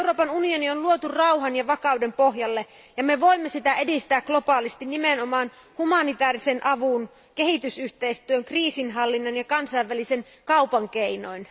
Euroopan unioni on luotu rauhan ja vakauden pohjalle ja me voimme edistää niitä globaalisti nimenomaan humanitäärisen avun, kehitysyhteistyön, kriisinhallinnan ja kansainvälisen kaupan keinoin.